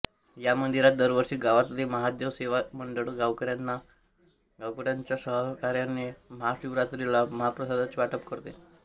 या मंदिरात दरवर्षी गावातले महादेव सेवा मंडळ गावकऱ्यांच्या सहकार्याने महाशिवरात्रीला महाप्रसादाचे वाटप करते